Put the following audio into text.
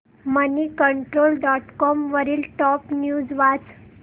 Moneycontrol dot com वरील top news वाच